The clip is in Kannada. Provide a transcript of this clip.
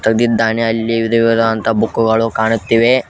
ಬಂದಿದ್ದಾನೆ ಅಲ್ಲಿ ವಿಧ ವಿಧವಾದ ಅಂತಾ ಬುಕ್ಕುಗಳು ಕಾಣುತ್ತಿವೆ.